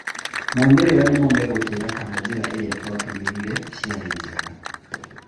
Maumĩrĩra nĩmo megũtuĩra kana njĩra irĩa twatũmĩrire ciarĩ njega.